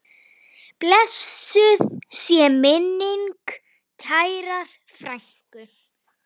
Blessuð sé minning kærrar frænku.